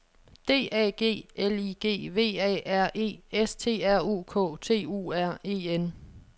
D A G L I G V A R E S T R U K T U R E N